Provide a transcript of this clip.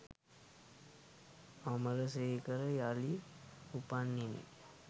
අමරසේකර යළි උපන්නෙමි